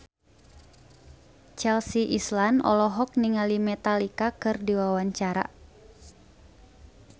Chelsea Islan olohok ningali Metallica keur diwawancara